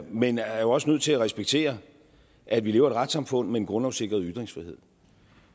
men er jo også nødt til at respektere at vi lever i et retssamfund med en grundlovssikret ytringsfrihed